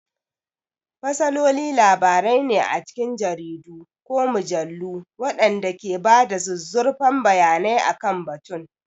Fasaloli labarai ne a cikin jaridu ko mujallu waɗanda ke ba da zuzzurfan bayanai akan batun.